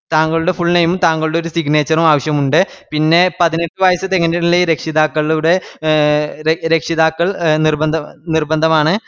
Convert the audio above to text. തങ്കളുടെ ഫുfull name ഉം താങ്കളുടെ ഒര് signature ഉം ആവശ്യമുണ്ട്. പിന്നെ പതിനെട്ട് വയസ്സ് തികഞ്ഞിട്ടില്ലേൽ രക്ഷിതാക്കളുടെ എ രക്ഷിതാക്കൾ നിർബന്ധമാണ് പിന്നെ